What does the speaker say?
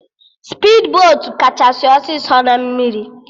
Spidbotu kachasị ọsịsọ na mmiri